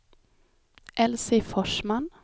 Elsie Forsman